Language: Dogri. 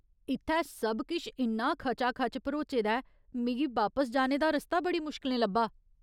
इत्थै सब किश इन्ना खचाखच भरोचे दा ऐ, मिगी बापस जाने दा रस्ता बड़ी मुश्कलें लब्भा।